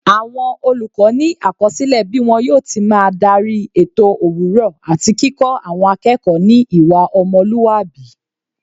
Àwọn olùkọ́ ni àkọsílẹ bí wọn yóò ti máa darí ètò òwúrọ̀ àti kíkọ́ àwọn akẹ́kọ̀ọ́ ní ìwà ọmọlúwàbí.